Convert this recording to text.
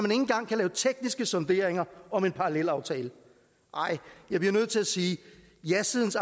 engang kan lave tekniske sonderinger om en parallelaftale jeg er nødt til at sige jasidens